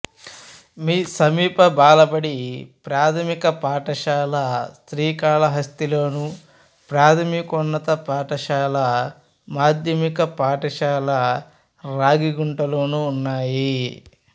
సమీప బాలబడి ప్రాథమిక పాఠశాల శ్రీకాళహస్తిలోను ప్రాథమికోన్నత పాఠశాల మాధ్యమిక పాఠశాల రాగిగుంటలోనూ ఉన్నాయి